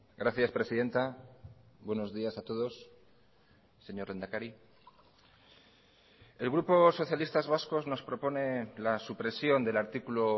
gracias presidenta buenos días a todos señor lehendakari el grupo socialistas vascos nos propone la supresión del artículo